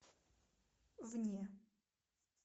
вне